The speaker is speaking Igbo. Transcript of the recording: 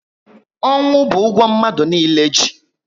Ọnwụ bu ụgwọ mmadụ niile ji